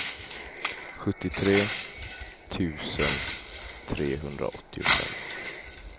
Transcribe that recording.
sjuttiotre tusen trehundraåttiofem